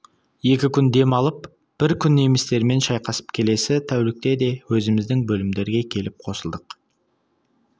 екі күн дем алып бір күн немістермен шайқасып келесі тәулік те өзіміздің бөлімдерге келіп қосылдық